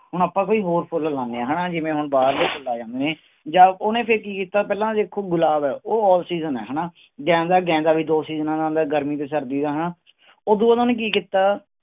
ਹੁਣ ਆਪਾਂ ਕੋਈ ਹੋਰ ਫੁੱਲ ਲਗਾਉਂਦੇ ਹਾਂ ਹਨਾ ਜਿਵੇਂ ਹੁਣ ਬਾਹਰਲੇ ਫੁੱਲ ਆ ਜਾਂਦੇ ਨੇ ਜਾਂ ਉਹਨੇ ਫਿਰ ਕੀ ਕੀਤਾ, ਪਹਿਲਾਂ ਦੇਖੋ ਗੁਲਾਬ ਹੈ ਉਹ offseason ਹੈ ਹਨਾ, ਗੇਂਦਾ ਗੇਂਦਾ ਵੀ ਦੋ ਸੀਜਨਾਂ ਦਾ ਆਉਂਦਾ ਗਰਮੀ ਤੇ ਸਰਦੀ ਦਾ ਹਨਾ ਉਦੂ ਬਾਅਦ ਉਹਨਾਂ ਨੇ ਕੀ ਕੀਤਾ।